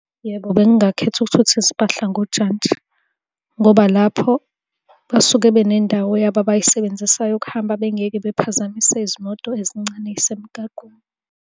Yebo, bengingakhetha ukuthutha izimpahla ngojantshi, ngoba lapho basuke benendawo yabo abay'sebenzisayo ukuhamba, bengeke bephazamise izimoto ezincane ey'semgaqweni.